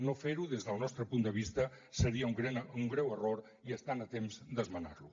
no fer ho des del nostre punt de vista seria un greu error i estan a temps d’esmenar lo